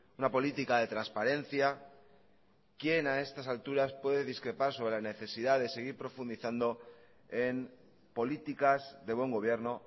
una política de transparencia quién a estas alturas puede discrepar sobre la necesidad de seguir profundizando en políticas de buen gobierno